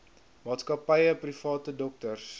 maatskappye private dokters